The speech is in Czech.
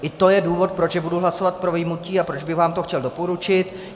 I to je důvod, proč budu hlasovat pro vyjmutí a proč bych vám to chtěl doporučit.